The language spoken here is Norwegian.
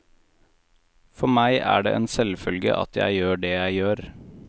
For meg er det en selvfølge at jeg gjør det jeg gjør.